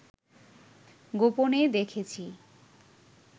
গোপনে দেখেছি